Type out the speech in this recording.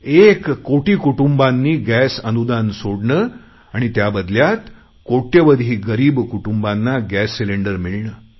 एक कोटी कुटुंबांनी गॅस अनुदान सोडणे आणि त्याबदल्यात कोट्यवधी गरीब कुटुंबांना गॅस सिलेंडर मिळणे